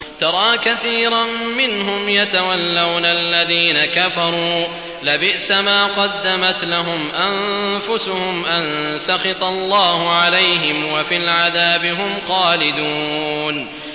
تَرَىٰ كَثِيرًا مِّنْهُمْ يَتَوَلَّوْنَ الَّذِينَ كَفَرُوا ۚ لَبِئْسَ مَا قَدَّمَتْ لَهُمْ أَنفُسُهُمْ أَن سَخِطَ اللَّهُ عَلَيْهِمْ وَفِي الْعَذَابِ هُمْ خَالِدُونَ